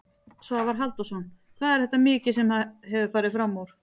Svavar Halldórsson: Hvað er þetta mikið sem að hefur farið framúr?